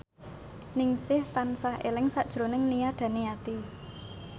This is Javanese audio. Ningsih tansah eling sakjroning Nia Daniati